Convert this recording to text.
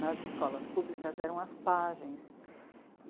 Nas escolas públicas eram as pajens.